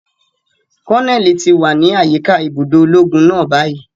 Koneli ti wa ni ayika ibudo ologun náà bayi.